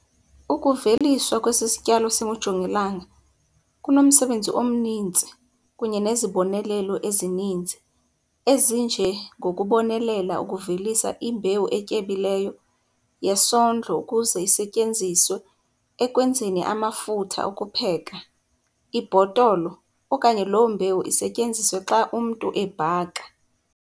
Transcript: Ukuveliswa kwesi sityalo singujongilanga kunomsebenzi omninzi kunye nezibonelelo ezininzi ezinje ngokubonelela ukuvelisa imbewu etyebileyo yesondlo ukuze isetyenziswe ekwenzeni amafutha okupheka, ibhotolo okanye loo mbewu isetyenziswe xa umntu ebhaka.